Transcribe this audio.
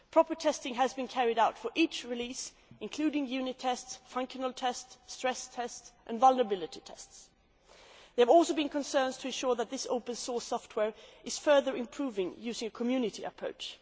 Proper testing has been carried out for each release, including unit tests, functional tests, stress tests and vulnerability tests. There have also been concerns to ensure that this open source software is further improved using a community approach.